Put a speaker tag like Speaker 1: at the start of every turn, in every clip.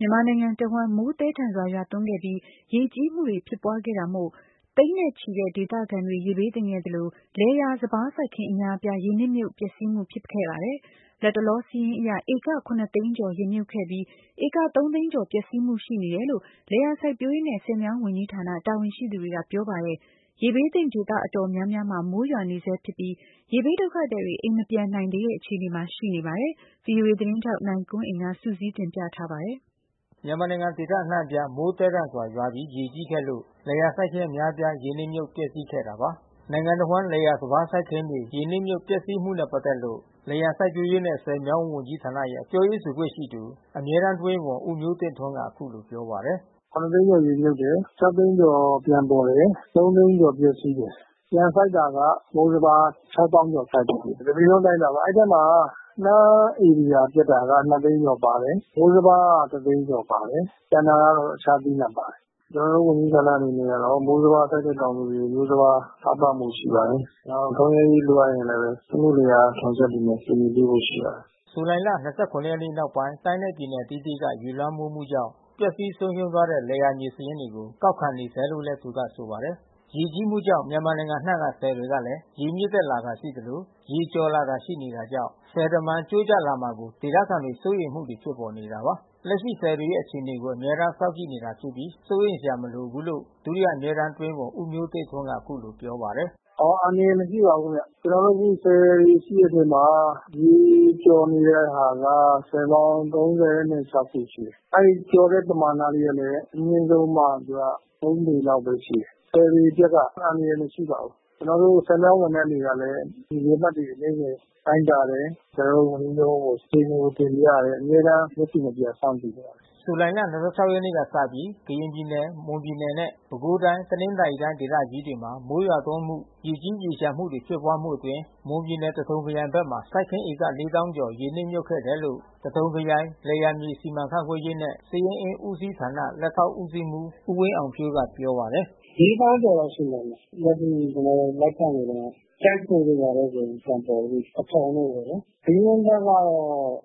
Speaker 1: မြန်မာနိုင်ငံတဝှမ်း မိုးသည်းထန်စွာရွာသွန်းခဲ့ပြီး ရေကြီးမှုဖြစ်ပွါးခဲ့လို့ သိန်းနဲ့ချီတဲ့ဒေသခံတွေ ရေဘေးသင့်ခဲ့သလို လယ်ယာစပါးစိုက်ခင်းအများအပြား ရေနစ်မြုပ်ပျက်စီးမှုဖြစ်ပေါ်ခဲ့ပါတယ်။ လတ်တလောစာရင်းအရ ဧက သိန်းကျော် ရေမြုပ်ခဲ့ပြီး ဧက သိန်းကျော် ပျက်စီးမှုရှိနေတယ်လို့ လယ်ယာစိုက်ပျိုးရေးနဲ့ ဆည်မြောင်း ဝန်ကြီး ဌာနတာဝန်ရှိသူတွေကပြောပါတယ်။ မိုးရွာသွန်းမှုကြောင့်ဆည်ကျိုးကျမဲ့အန္တရာယ်မရှိဘူးလို့လဲဆိုပါတယ်။ ရေဘေးသင့် ဒေသတော်တော်များများမှာ မိုးရွာနေဆဲဖြစ်ပြီး ရေဘေးဒုက္ခသည်တွေ အိမ်မပြန်နိုင် သေးတဲ့အခြေအနေ မှာ ရှိနေပါတယ်။ ဗွီအိုအေသတင်းထောက် နိုင်ကွန်းအိန်က စုစည်း သတင်း ပေးပို့ထားပါတယ်
Speaker 2: ။ မြန်မာနိုင်ငံဒေသအနှံ့အပြား မိုးသည်းထန်စွာရွာပြီးရေကြီးခဲ့လို့ လယ်ယာစိုက်ခင်းအများအပြားရေနစ်မြုပ်ပျက်စီးခဲ့ တာပါ။ နိုင်ငံတဝှမ်း လယ်ယာစပါးစိုက်ခင်းတွေ ရေနစ်မြုပ် ပျက်စီးမှုနဲ့ပက်သက်လို့ လယ်ယာစိုက်ပျိုးရေးနဲ့ ဆည်မြောင်း ဝန်ကြီးဌာနရဲ့ ပြောရေးဆိုခွင့်ရှိသူ ဒုတိယအမြဲတမ်း အတွင်းဝန် ဦးမျိုးတင့်ထွန်းက အခုလိုပြောပါတယ်။
Speaker 3: သိန်းကျော်ရေမြုပ်တယ်။ သိန်းကျော်ပြန်ပေါ်တယ်။ သိန်းကျော်ပျက်စီးတယ်။ ပြန်စိုက်တာက မိုးစပါး သောင်းကျော်စိုက်တယ်။ တပြည်လုံးအတိုင်းအတာပါ။ အဲဒီအထဲမှာ နှမ်းဧရိယာပျက်တာက သိန်း ကျော်ပါတယ်။ မိုးစပါးက သိန်းကျော်ပါတယ်။ ကျန်တာတွေကတော့တခြားသီးနှံပါတယ်။ ကျွန်တော်တို့ဝန်ကြီးဌာန အနေနဲ့ကတော့ မိုးစပါးစိုက်တဲ့ တောင် သူ တွေကို မျိုးစပါးထောက်ပံ့ဖို့ရှိပါတယ်။ နောက်ထွန်လယ်ရေးလိုအပ်ရင်လဲ စက်မှုလယ်ယာထွန်စက်တွေနဲ့ ကူညီပေးဖို့ရှိ ပါတယ်
Speaker 2: ။" ဇူလိုင် ၂၇ ရက်နောက်ပိုင်း တိုင်းနဲ့ပြည်နယ်အသီးသီးက ရေလွမ်းမိုးမှုကြောင့် ပျက်စီး ဆုံးရှုံးသွားတဲ့ လယ်ယာမြေစာရင်းတွေကို ကောက်ခံနေဆဲလို့လည်း သူကဆိုပါတယ်။ ရေကြီးမှုကြောင့်မြန်မာနိုင်ငံအနံှ့ကဆည်တွေကလဲ ရေမြင့်တက်လာတာရှိသလိုရေကျော်လာတာရှိနေတာကြောင့် ဆည်တမံကျိုးကျလာမှာကို ဒေသခံတွေစိုးရိမ်မှုတွေဖြစ်ပေါ်နေတာပါ။ လက်ရှိဆည်တွေရဲ့အခြေအနေကို အမြဲတမ်းစောင့်ကြည့်နေတာဖြစ်ပြီး စိုးရိမ်စရာမလိုဘူးလို့ ဒုတိယအမြဲတမ်း အတွင်းဝန် ဦးမျိုးတင့်ထွန်းက အခုလိုပြောပါတယ်။
Speaker 3: "အန္တရာယ်မရှိပါဘူးခင်ဗျ။ ကျွန်တော်တို့အခုဆည်တွေရှိတဲ့အထဲမှာ ရေကျော်နေတဲ့ဟာက ဆည်ပေါင်း ခုရှိတယ်။ အဲဒီကျော်တဲ့ပမာဏလေးတွေကအမြင့်ဆုံးမှ သူက ပေလောက်ဘဲရှိတယ်။ ဆည်တွေအတွက်က အန္တရာယ် မရှိပါဘူး။ကျွန်တော်တို့ဆည်မြောင်းဝန်ထမ်းတွေကလဲ ရေအမှတ်တွေနေ့စဉ်တိုင်းတာတယ်။ ကျွန်တော်တို့ ဝန်ကြီးရုံးကိုအခြေအနေတွေတင်ပြတယ်။ အမြဲတမ်းမျက်ခြေမပြတ်စောင့်ကြည့်နေပါတယ်
Speaker 2: ။" ဇူလိုင်လ ရက်နေ့ကစပြီးကရင်ပြည်နယ် မွန်ပြည်နယ်နဲ့ ပဲခူးတိုင်း တနင်္သာရီတိုင်းဒေသကြီးတွေမှာ မိုးရွာသွန်း မှုရေကြီးရေလျှံမှုတွေဖြစ်ပွါးမှုအတွင်းမွန်ပြည်နယ်သထုံခရိုင်ဘက်မှာ စိုက်ခင်းဧက ခန့် ရေနစ်မြုပ်ခဲ့တယ် လို့ သထုံခရိုင်လယ်ယာမြေစီမံခန့်ခွဲရေးနှင့်စာရင်းအင်းဦးစီးဌာန လက်ထောက်ဦးစီးမှူး ဦးဝင်းအောင်ဖြိုးက ပြောပါတယ်။ "လေးသောင်းကျော်လောက်
Speaker 3: ရှိပါမယ်။ အခုကျွန်တော်တို့စာရင်းလိုက်ကောက်တုန်းဘဲ။ ကျိုက်ထိုတို့ဘာတို့ဆိုပြန် ပေါ်ပြီး။ သထုံတို့ပေါ့နော်။ ဘီလင်းဘက်ကတော့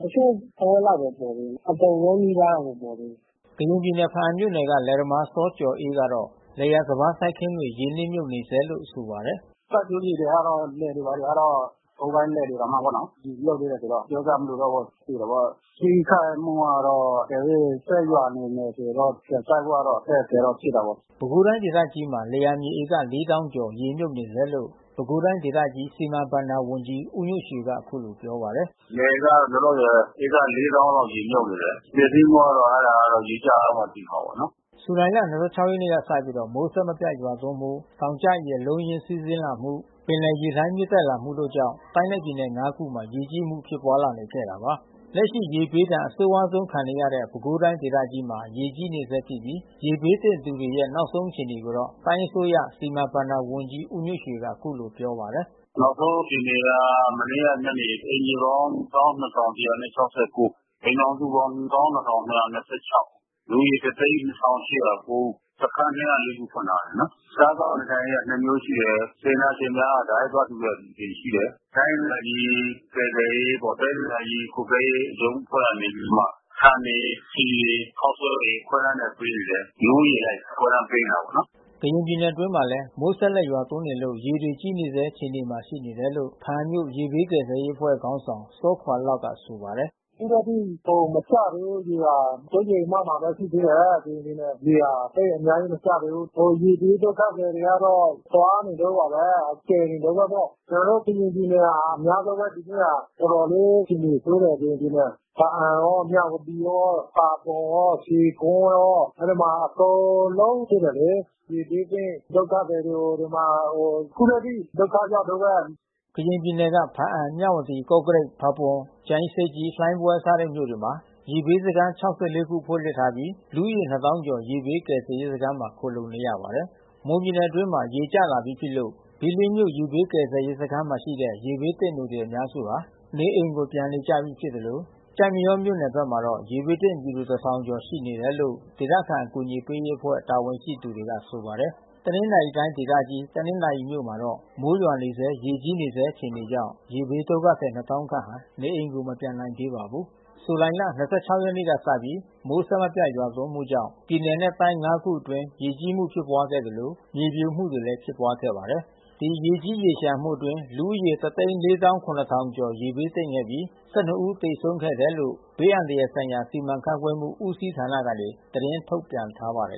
Speaker 3: တချို့တဝက်လောက်ဘဲပေါ်တယ်။ အကုန်လုံးနီးပါးတော့ မပေါ
Speaker 2: ် သေးဘူး။" ကရင်ပြည်နယ် ဖါးအံမြို့နယ်ကလယ်သမားစောကျော်အေးကတော့ လယ်ယာစပါးစိုက်ခင်းတွေ ရေနစ်မြုပ်နေ ဆဲလို့ဆိုပါတယ်
Speaker 3: ။ "စိုက်ပျိုးမြေတွေကတော့ လယ်တွေဘာတွေကတော့ ကုန်းပိုင်းလယ်တွေတောင်မှပေါ့နော် ရေမြုပ်သေးတယ်ဆိုတော့ ပြောစရာမလိုတော့ဘူးပေါ့နော်။ သေတာပေါ့။ ထိခိုက်မှုကတော့အကယ်၍ ဆက်ရွာနေမယ်ဆိုတော့ ပြန်စိုက်ဖို့တော့ အခက်ခဲဖြစ်တာပေါ့
Speaker 2: ။" ပဲခူးတိုင်းဒေသကြီးမှာ လယ်ယာမြေဧကလေးသောင်းကျော်ရေမြုပ်နေဆဲလို့ ပဲခူးတိုင်းဒေသကြီး စီမံ ဘဏ္ဍာဝန်ကြီး ဦးညွန့်ရွှေကအခုလိုပြောပါတယ်
Speaker 1: ။ "လယ်ကလောလောဆယ် ဧကလေးသောင်းလောက်ရေမြုပ်နေတယ်။ ပျက်စီးမှုကတော့ အဲတာကရေကျ သွားမှသိမှာပေါ့နော်
Speaker 2: ။" ဇူလိုင်လ ရက်နေ့ကစပြီး မိုးအဆက်မပြတ်ရွာသွန်းမှု တောင်ကျရေအလုံးအရင်းစီးဆင်းမှု ပင်လယ်ရေလှိုင်း မြင့်တက်လာမှုတို့ကြောင့် တိုင်းနဲ့ပြည်နယ် ခုမှာ ရေကြီးမှုဖြစ်ပွါးလာနေခဲ့တာပါ။ လက်ရှိ ရေဘေးဒဏ်အဆိုးဝါးဆုံးခံနေရတဲ့ ပဲခူးတိုင်းဒေသကြီးမှာရေကြီးနေဆဲဖြစ်ပြီး ရေဘေးသင့်သူတွေရဲ့ နောက်ဆုံးအခြေအနေကို တိုင်းအစိုးရ စီမံ ဘဏ္ဍာဝန်ကြီးဦးညွန့်ရွှေကအခုလိုပြောပါတယ်
Speaker 1: ။ "နောက်ဆုံးအခြေအနေကမနေ့ကညနေထိ အိမ်ခြေပေါင်း အိမ်ထောင်စုပေါင်း လူဦးရေ ဦး။ စခမ်း ခုဖွင့်ထားတယ်နော်။ စားသောက်နေထိုင်ရေးကနှစ်မျိုးရှိတယ်။ ဒေတနာရှင်များက တိုက်ရိုက်သွားလှူတဲ့အစီအစဉ်ရှိတယ်။ တိုင်းဒေသကြီးကယ်ဆယ်ရေးပေါ့။ တိုင်းဒေသကြီးကွပ်ကဲရေး ရုံးအဖွဲ့ ကနေပြီးမှ ဆန်တွေ ဆီတွေ ခေါက်ဆွဲတွေပေးနေတယ်။ လူဦးရေအလိုက်ခွဲတန်းပေးနေတယ်ပေါ့နော်
Speaker 2: ။" ကရင်ပြည်နယ်အတွင်းမှာလဲ မိုးဆက်လက်ရွာသွန်းနေလို့ ရေတွေကြီးနေဆဲအခြေအနေမှာရှိနေတယ်လို့ ဖါးအံမြို့ က ရေဘေးကယ်ဆယ်ရေးအဖွဲ့ခေါင်းဆောင် စောခွါ့လောက်ကဆိုပါတယ်။ "အခုထက်ထိမကျဘူး
Speaker 3: ရ
Speaker 2: ေက စိုးရိမ်
Speaker 3: အမှတ်မှာရှိနေသေးတယ်။ ကရင်ပြည်နယ်ရေဟာ။ သိပ်အများကြီးမကျသေးဘူး။ ဟိုရေဘေးဒုက္ခသည်တွေကတော့ သွားနေတုန်းပါဘဲ။ ကယ်နေတုန်းဘဲပေါ့။ ကျွန်တော်တို့ကရင်ပြည်နယ်မှာ အများ ဆုံးဘဲဒီနှစ်မှာ တော်တော်လေးအခြေအနေဆိုးတယ်ကရင်ပြည်နယ်။ ဖါးအံရော မြဝတီရော ဖါပွန်ရော ရွှေဂွန်းရော အဲဒီမှာအကုန်လုံး ရေဘေးသင့်ဒုက္ခသည်တွေ ဒီမှာအခုထက်ထိဒုက္ခရောက်တုန်းဘဲ။"
Speaker 2: ကရင်ပြည်နယ်က ဖါးအံ မြဝတီ ကော့ကရိတ် ဖါးပွန် ကြာအင်းဆိပ်ကြီး လှိုင်းဘွဲစတဲ့မြို့တွေမှာ ရေဘေးစခမ်း ခု ဖွင့်ထားပြီး လူဦးရေနှစ်သောင်းကျော်ရေဘေးကယ်ဆယ်ရေးစခမ်းမှာခိုလှုံနေရပါတယ်။ မွန်ပြည်နယ်အတွင်းမှာ ရေကျလာပြီးဖြစ်လို့ ဘီလင်းမြို့ရေဘေးကယ်ဆယ်ရေးစခမ်းမှာရှိတဲ့ရေဘေးသင့်သူတွေ အများစုဟာ နေအိမ်ကိုပြန်နေကြပြီးဖြစ်သလို ကျိုက်မရောမြို့နယ်ဘက်မှာတော့ ရေဘေးသင့်ပြည်သူတထောင် ကျော်ရှိနေတယ်လို့ ဒေသခံအကူညီပေးရေးအဖွဲ့တာဝန်ရှိသူတွေကဆိုပါတယ်။ တနင်္သာရီတိုင်းဒေသကြီးတနင်္သာရီမြို့မှာတော့ မိုးရွာနေဆဲရေကြီးနေဆဲအခြေအနေကြောင့် ရေဘေးဒုက္ခသည် နှစ်သောင်းခန့်ဟာ နေအိမ်ကိုမပြန်နိုင်သေးပါဘူး။ ဇူလိုင်လ ရက်နေ့ကစပြီး မိုးအဆက်မပြတ်ရွာသွန်းမှုကြောင့် ပြည်နယ်နဲ့တိုင်း ခုအတွင်း ရေကြီးမှုဖြစ် ပွါးခဲ့သလိုမြေပြိုမှုတွေလဲဖြစ်ပွါးခဲ့ပါတယ်။ ဒီရေကြီးရေလျှံမှုအတွင်း လူဦးရေ ကျော်ရေဘေးသင့်ခဲ့ပြီး ဦးသေဆုံးခဲ့တယ်လို့ ဘေးအန္တရာယ်ဆိုင်ရာ စီမံခန့်ခွဲမှုဦးစီးဌာနကနေသတင်းထုတ်ပြန်ထားပါတယ်